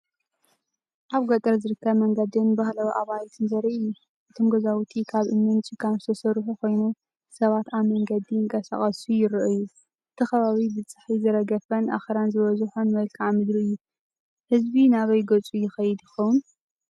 ኣብ ገጠር ዝርከብ መንገድን ባህላዊ ኣባይትን ዘርኢ እዩ። እቶም ገዛውቲ ካብ እምንን ጭቃን ዝተሰርሑ ኮይኖም፡ ሰባት ኣብ መንገዲ ይንቀሳቐሱ ይረኣዩ። እቲ ከባቢ ብጸሓይ ዝረገፈን ኣኽራን ዝበዝሖን መልክዓ ምድሪ እዩ። ህዝቢ ናበይ ገጹ ይኸይድ ይኸውን?